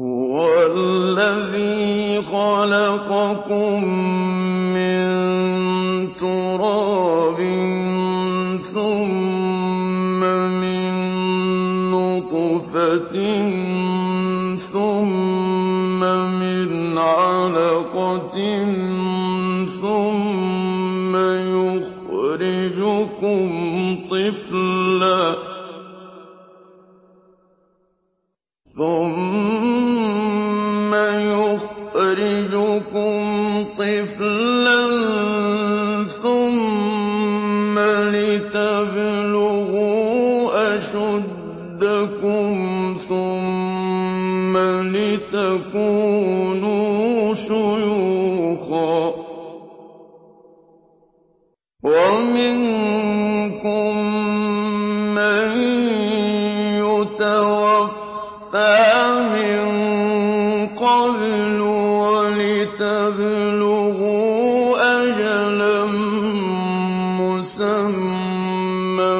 هُوَ الَّذِي خَلَقَكُم مِّن تُرَابٍ ثُمَّ مِن نُّطْفَةٍ ثُمَّ مِنْ عَلَقَةٍ ثُمَّ يُخْرِجُكُمْ طِفْلًا ثُمَّ لِتَبْلُغُوا أَشُدَّكُمْ ثُمَّ لِتَكُونُوا شُيُوخًا ۚ وَمِنكُم مَّن يُتَوَفَّىٰ مِن قَبْلُ ۖ وَلِتَبْلُغُوا أَجَلًا مُّسَمًّى